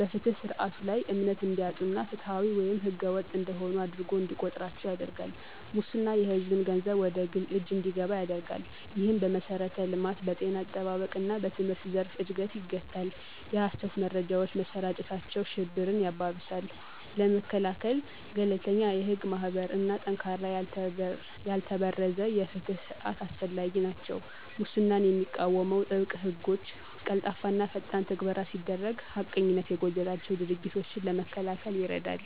በፍትህ ስርዓቱ ላይ እምነት እንዲያጡ እና ፍትሃዊ ወይም ህገወጥ እንደሆኑ አድርጎ እንዲቆጥራቸው ያደርጋል። ሙስና የሕዝብን ገንዘብ ወደ ግል እጅ እንዲገባ ያደርጋል፣ ይህም በመሠረተ ልማት፣ በጤና አጠባበቅ እና በትምህርት ዘርፍን እድገት ይገታል። የሀሰት መረጃዎች መሰራጨታቸው ሽብርን ያባብሳል። ለመከላከል - ገለልተኛ የህግ ማስከበር እና ጠንካራ ያልተበረዘ የፍትህ ስርዓት አስፈላጊ ናቸው። ሙስናን የሚቃወሙ ጥብቅ ሕጎች፣ ቀልጣፋና ፈጣን ትግበራ ሲደረግ ሐቀኝነት የጎደላቸው ድርጊቶችን ለመከላከል ይረዳል።